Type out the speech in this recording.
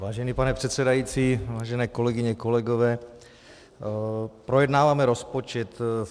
Vážený pane předsedající, vážené kolegyně, kolegové, projednáváme rozpočet.